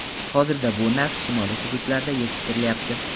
Hozirda bu nav shimoliy hududlarda yetishtirilyapti.